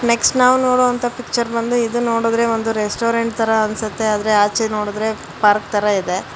Next ನಾವು ನೋಡುವಂತ picture ಬಂದು ಇದು ನೋಡಿದ್ರೆ ಒಂದು ರೆಸ್ಟೋರೆಂಟ್ ತರ ಅನ್ಸುತ್ತೆ ಆದರೆ ಆಚೆ ನೋಡುದ್ರೆ ಪಾರ್ಕ್ ತರ ಇದೆ.